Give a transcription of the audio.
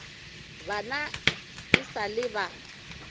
bana e sa le ba